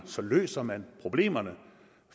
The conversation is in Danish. så løser man problemerne